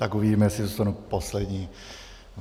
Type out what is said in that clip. Tak uvidíme, jestli zůstanu poslední.